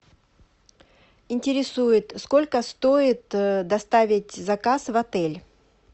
интересует сколько стоит доставить заказ в отель